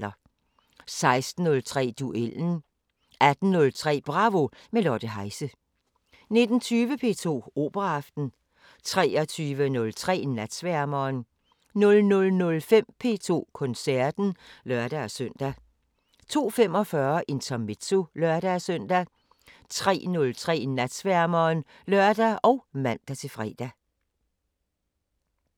16:03: Duellen 18:03: Bravo – med Lotte Heise 19:20: P2 Operaaften 23:03: Natsværmeren 00:05: P2 Koncerten (lør-søn) 02:45: Intermezzo (lør-søn) 03:03: Natsværmeren (lør og man-fre)